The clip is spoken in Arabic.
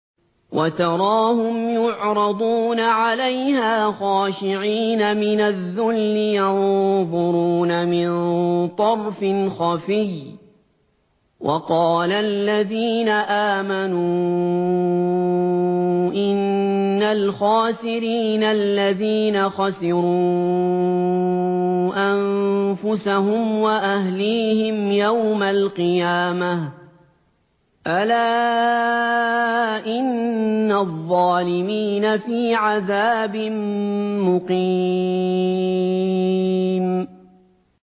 وَتَرَاهُمْ يُعْرَضُونَ عَلَيْهَا خَاشِعِينَ مِنَ الذُّلِّ يَنظُرُونَ مِن طَرْفٍ خَفِيٍّ ۗ وَقَالَ الَّذِينَ آمَنُوا إِنَّ الْخَاسِرِينَ الَّذِينَ خَسِرُوا أَنفُسَهُمْ وَأَهْلِيهِمْ يَوْمَ الْقِيَامَةِ ۗ أَلَا إِنَّ الظَّالِمِينَ فِي عَذَابٍ مُّقِيمٍ